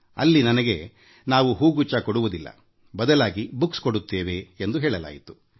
ಅಲ್ಲಿ ನನಗೆ ನಾವು ಹೂಗುಚ್ಛ ಕೊಡುವುದಿಲ್ಲ ಬದಲಾಗಿ ಪುಸ್ತಕ ಕೊಡುತ್ತೇವೆ ಎಂದು ಹೇಳಲಾಯಿತು